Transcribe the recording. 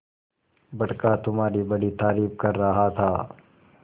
बड़का तुम्हारी बड़ी तारीफ कर रहा था